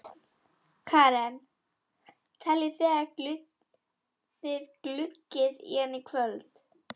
Karen: Teljið þið að þið gluggið í hann í kvöld?